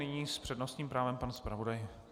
Nyní s přednostním právem pan zpravodaj.